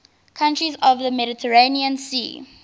countries of the mediterranean sea